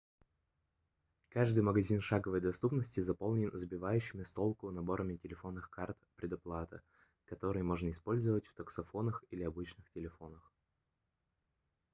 каждый магазин шаговой доступности заполнен сбивающими с толку наборами телефонных карт предоплаты которые можно использовать в таксофонах или обычных телефонах